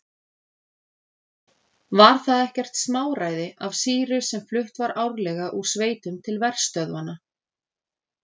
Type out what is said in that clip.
Var það ekkert smáræði af sýru sem flutt var árlega úr sveitum til verstöðvanna.